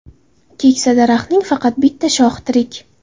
Keksa daraxtning faqat bitta shoxi tirik.